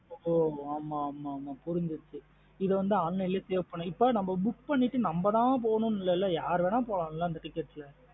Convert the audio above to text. ஒ ஆமா ஆமா புரிஞ்சிருச்சு இது வந்து online லா save பண்ணிட்டு. இப்போ book பண்ணிட்டு நம்ம தான் போனும் இல்லேல்ல யார்வேனுனாலும் போலன்ல இந்த ticket லா.